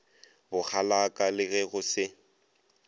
bokgalaka le ge go se